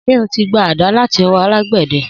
Sé o ti gba àdá latí õwõ alàgbéde?